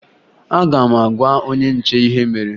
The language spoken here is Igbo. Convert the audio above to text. Aga m agwa onye nche ihe mere